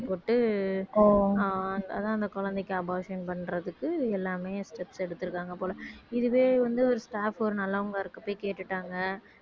அதான் அந்த குழந்தைக்கு abortion பண்றதுக்கு இது எல்லாமே steps எடுத்திருக்காங்க போல இதுவே வந்து ஒரு staff ஒரு நல்லவங்க இருக்க போய் கேட்டுட்டாங்க